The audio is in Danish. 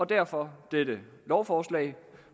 derfor dette lovforslag